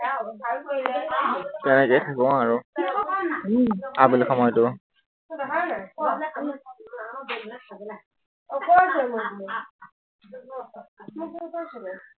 তেনেকেই থাকো আৰু উম আবেলি সময়তো